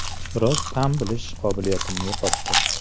Biroz ta’m bilish qobiliyatimni yo‘qotdim.